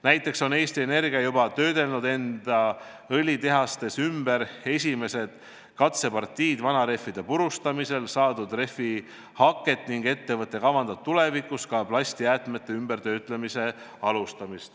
Näiteks on Eesti Energia juba töödelnud enda õlitehastes ümber esimesed katsepartiid vanarehvide purustamisel saadud rehvihaket ning ettevõte kavandab tulevikus alustada ka plastjäätmete töötlemist.